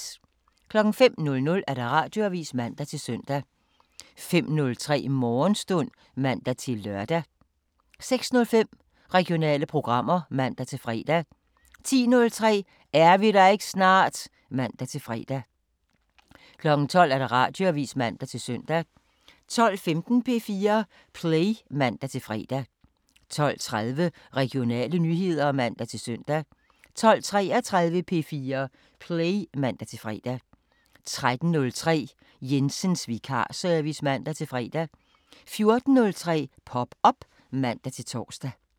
05:00: Radioavisen (man-søn) 05:03: Morgenstund (man-lør) 06:05: Regionale programmer (man-fre) 10:03: Er vi der ikke snart? (man-fre) 12:00: Radioavisen (man-søn) 12:15: P4 Play (man-fre) 12:30: Regionale nyheder (man-søn) 12:33: P4 Play (man-fre) 13:03: Jensens vikarservice (man-fre) 14:03: Pop op (man-tor)